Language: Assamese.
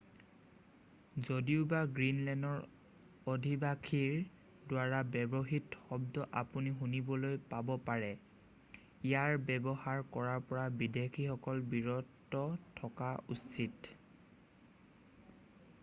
যদিওবা গ্ৰীণলেণ্ডৰ অধিবাসীৰ দ্বাৰা ব্যৱহৃত শব্দ আপুনি শুনিবলৈ পাব পাৰে ইয়াৰ ব্যৱহাৰ কৰাৰ পৰা বিদেশীসকল বিৰত থকা উচিত